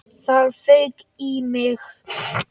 Það fauk í mig.